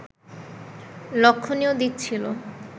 লক্ষণীয় দিক ছিল